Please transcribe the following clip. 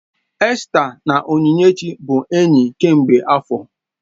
Esta na Onyinyechi bụ enyi kemgbe afọ